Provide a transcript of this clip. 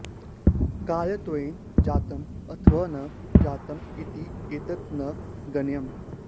कार्यत्वेन जातम् अथवा न जातम् इति एतत् न गण्यम्